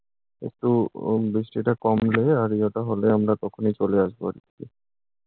একটু উম বৃষ্টি টা কমলে আজকে তা হলে আমরা তখনই চলে আসবো আরকি।